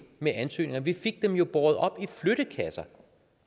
med ansøgninger at vi fik dem jo båret op